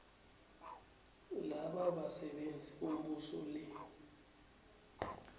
labasebenzi bombuso le